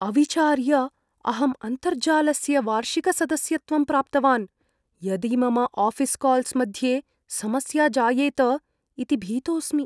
अविचार्य अहं अन्तर्जालस्य वार्षिकसदस्यत्वं प्राप्तवान्, यदि मम आऴीस् काल्स् मध्ये समस्या जायेत इति भीतोस्मि।